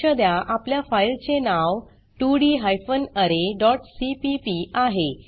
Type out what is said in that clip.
लक्ष द्या आपल्या फाइल चे नाव 2डी हायफेन अरे डॉट सीपीपी आहे